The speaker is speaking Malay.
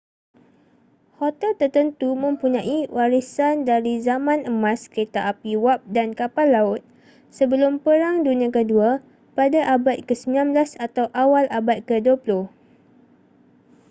hotel tertentu mempunyai warisan dari zaman emas kereta api wap dan kapal laut sebelum perang dunia kedua pada abad ke-19 atau awal abad ke-20